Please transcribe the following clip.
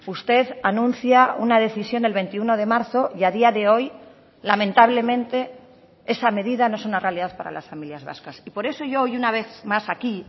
usted anuncia una decisión el veintiuno de marzo y a día de hoy lamentablemente esa medida no es una realidad para las familias vascas y por eso yo hoy una vez más aquí